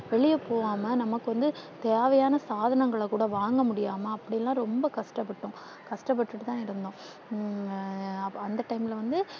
வெளிய போகாம நமக்கு வந்து தேவையான சாதனங்களை கூட வாங்க முடியாம அப்படியெல்லாம் ரொம்ப கஷ்டப்பட்டோம். கஷ்டப்பட்டுட்டு தான் இருந்தோம். உம் அந்த time ல வந்து